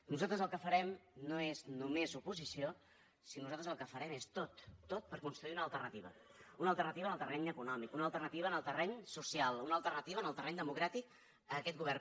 nosaltres el que farem no és només oposició sinó que nosaltres el que farem és tot tot per construir una alternativa una alternativa en el terreny econòmic una alternativa en el terreny social una alternativa en el terreny democràtic a aquest govern